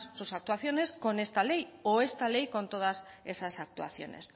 sus actuaciones con esta ley o esta ley con todas esas actuaciones